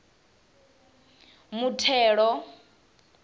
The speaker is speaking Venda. muthelo